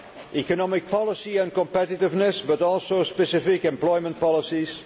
economic policy and competitiveness, but also specific employment policies